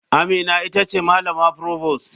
Amina ita ce malama provost.